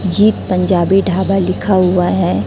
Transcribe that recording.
जी पंजाबी ढाबा लिखा हुआ है।